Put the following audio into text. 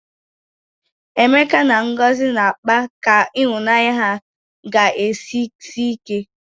Emeka na Ngozi na-akpa ka ịhụnanya ha ga-esi sie ike.